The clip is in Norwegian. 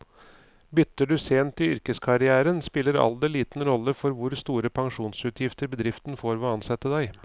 Bytter du sent i yrkeskarrieren, spiller alder liten rolle for hvor store pensjonsutgifter bedriften får ved å ansette deg.